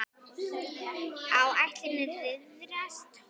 Áætlun riðlast um nokkra daga.